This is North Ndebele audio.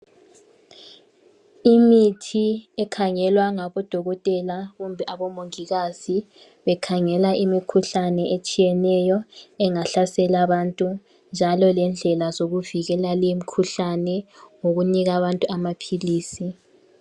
Imithi ekhangelwa ngabodokotela kumbe abomongikazi bekhangela imikhuhlane etshiyeneyo engahlasela abantu njalo lendlela zokuvikela limikhuhlane ngokunika abantu amaphilisi.